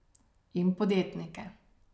In podjetnike.